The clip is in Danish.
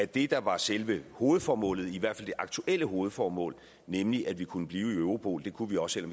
det der var selve hovedformålet i hvert fald det aktuelle hovedformål nemlig at vi kunne blive i europol kunne vi også